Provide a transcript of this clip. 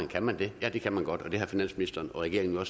kan man det ja det kan man godt og det har finansministeren og regeringen jo